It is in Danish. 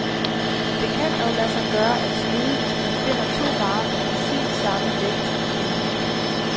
Det kan dog lade sig gøre at snyde, hvis man finder to varer med præcis samme vægt, erkender han.